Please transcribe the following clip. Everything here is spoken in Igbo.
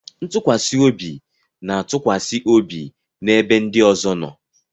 Ntụkwasị obi na-atụkwasị obi n'ebe ndị ọzọ nọ.